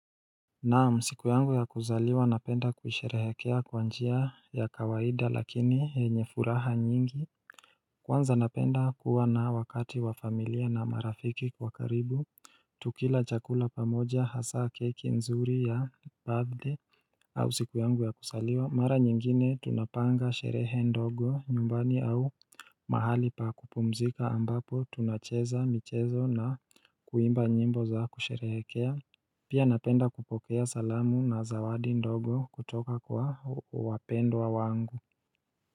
Naam siku yangu ya kuzaliwa napenda kusherehekea kwa njia ya kawaida lakini yenye furaha nyingi Kwanza napenda kuwa na wakati wa familia na marafiki kwa karibu Tukila chakula pamoja hasaa keki nzuri ya birthday au siku yangu ya kuzaliwa mara nyingine tunapanga sherehe ndogo nyumbani au mahali pa kupumzika ambapo tunacheza michezo na kuimba nyimbo za kusherehekea Pia napenda kupokea salamu na zawadi ndogo kutoka kwa wapendwa wangu.